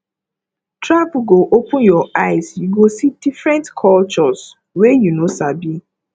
travel go open your eye you go see different cultures wey you no sabi